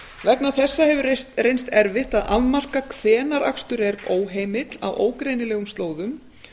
vegna þessa hefur reynst erfitt að afmarka hvenær akstur er óheimill á ógreinilegum slóðum